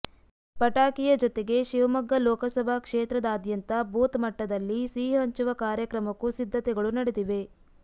ಪಟಾಕಿಯ ಜೊತೆಗೆ ಶಿವಮೊಗ್ಗ ಲೋಕಸಭಾ ಕ್ಷೇತ್ರದಾದ್ಯಂತ ಬೂತ್ ಮಟ್ಟದಲ್ಲಿ ಸಿಹಿ ಹಂಚುವ ಕಾರ್ಯಕ್ರಮಕ್ಕೂ ಸಿದ್ಧತೆಗಳು ನಡೆದಿವೆ